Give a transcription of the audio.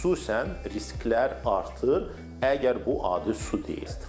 Xüsusən risklər artır, əgər bu adi su deyil.